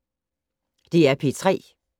DR P3